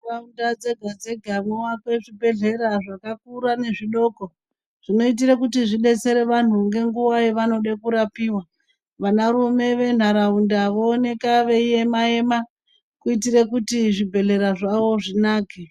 Mundau dzega dzega mwoakwe zvibhedhlera zvakarura nezvidoko, zvinoitira kuti zvidetsere vantu munguva yavanoda kurapiwa. Vanarume venharaunda vooneka veima ema kuitira kuti zvibhedhlera zvavo zvinake.